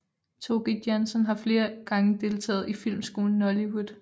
Tóki Jansson har flere gange deltaget i filmskolen Nóllywood